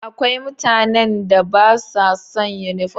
Akwai mutanen da ba sa son yunifom.